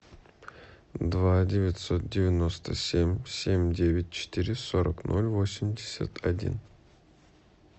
два девятьсот девяносто семь семь девять четыре сорок ноль восемьдесят один